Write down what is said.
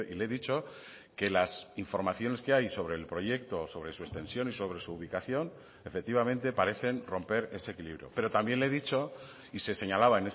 le he dicho que las informaciones que hay sobre el proyecto sobre su extensión y sobre su ubicación efectivamente parecen romper ese equilibrio pero también le he dicho y se señalaba